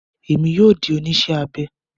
Èmi yóò di oníṣẹ́ abẹ